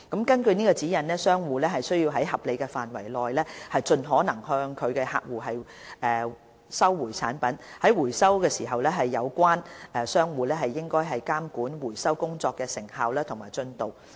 根據指引，商戶須在合理範圍內盡可能向客戶收回產品，而在回收時，有關商戶應監管回收工作的成效及進度。